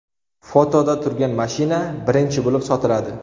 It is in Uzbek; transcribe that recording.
Fotoda turgan mashina birinchi bo‘lib sotiladi.